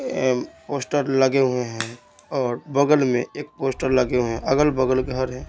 Poster लगे हुए हैं और बगल में एक पोस्टर लगे हुए हैं अगल-बगल घर है।